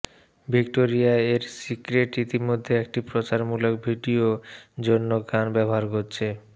Victoria এর secret ইতিমধ্যে একটি প্রচারমূলক ভিডিও জন্য গান ব্যবহার করেছে